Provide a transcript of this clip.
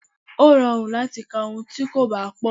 Ó rọrùn láti ka ohun tí kò bá pọ̀.